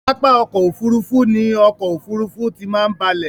Pápá ọkò òfurufú ni ọkò òfurufú tí máa ń balẹ̀.